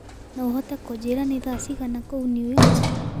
no uhote kunjĩĩra ni thaa cĩĩgana kũũ new york